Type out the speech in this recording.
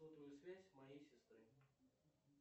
сотовую связь моей сестры